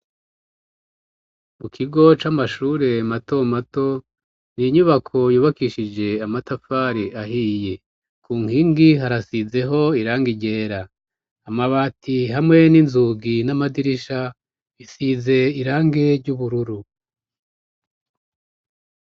Mu kigo c'amashure y' intango bafis' inyubako yubakishij' amatafar' ahiye, ku nkingi harasizeh' irange ryera, amabati hamwe n'inzugi n'amadirisha bisiz' irangi, imbere hasi har' ivu ririmw' utubuye, inyuma har'ibiti binini.